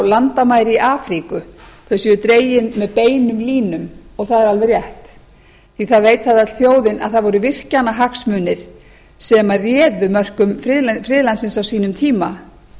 landamæri í afríku þau séu dregin með beinum línum og það er alveg rétt því að það veit það öll þjóðin að það voru virkjanahagsmunir sem réðu mörkum friðlandsins á sínum tíma